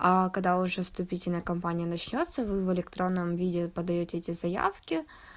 а когда уже вступительная кампания начнётся вы электронном виде подаёте эти заявки